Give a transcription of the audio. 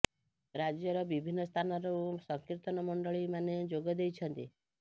ରାଜ୍ୟ ର ବିଭିନ୍ନ ସ୍ଥାନ ରୁ ସଂକିର୍ତନ ମଣ୍ଡଳୀ ମାନେ ଯୋଗ ଦେଇ ଛନ୍ତି